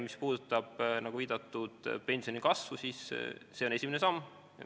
Mis puudutab, nagu viidatud, pensionikasvu, siis see on esimene samm.